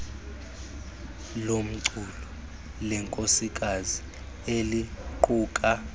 lomculo lenkosikazi eliquka